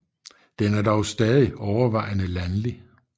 Den er dog stadig overvejende landlig